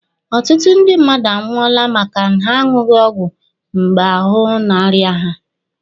Ọtụtụ ndị mmadụ anwụọla maka na ha aṅụghi ọgwụ mgbe ahụ na-arịa ha.